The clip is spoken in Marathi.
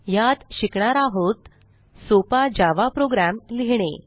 ह्यात शिकणार आहोत सोपा जावा प्रोग्राम लिहिणे